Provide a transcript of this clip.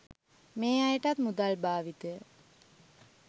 මේ අයටත් මුදල් භාවිතය